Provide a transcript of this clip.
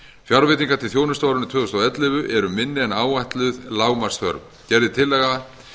fjárveitingar til þjónustu á árinu tvö þúsund og ellefu voru minni en áætluð lágmarksþörf gerð er tillaga